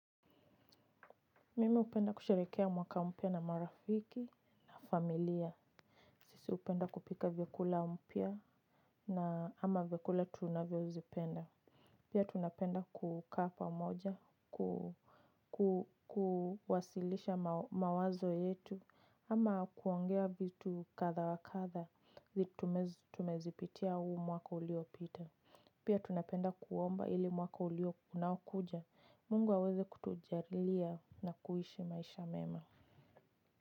Mimi hupenda kusherehekea mwaka mpya na marafiki familia, sisi hupenda kupika vyakula mpya na ama vyakula tunavyozipenda. Pia tunapenda kukaa pamoja kuwasilisha mawazo yetu ama kuongea vitu kadha wa kadha. Vitu tumezipitia huu mwaka uliopita. Pia tunapenda kuomba ili mwaka ulio unaokuja Mungu aweze kutujalia na kuishi maisha mema.